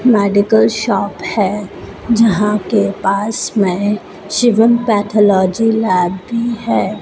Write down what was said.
Medical shop है जहां के पास में शिवम पैथोलॉजी लैब भी है।